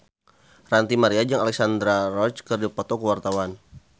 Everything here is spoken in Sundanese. Ranty Maria jeung Alexandra Roach keur dipoto ku wartawan